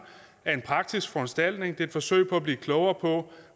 er en praktisk foranstaltning det er et forsøg på at blive klogere på